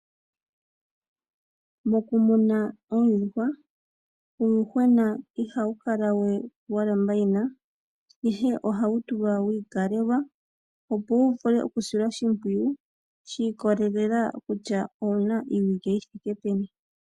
Mokumuna oondjuhwa uuyuhwena ihawu kala we wa lamba yina, ihe ohawu tulwa wiikalelwa opo wu vule okusilwa oshimpwiyu shi ikolelela kutya owuna iiwike yithike peni.